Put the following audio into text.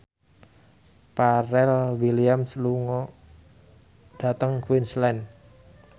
Pharrell Williams lunga dhateng Queensland